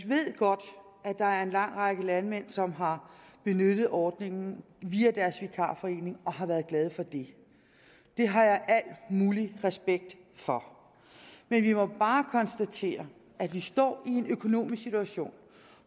ved godt at der er en lang række landmænd som har benyttet ordningen via deres vikarforening og har været glade for det det har jeg al mulig respekt for men vi må bare konstatere at vi står i en økonomisk situation